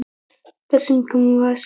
Það sem ég gekk inn í var saga.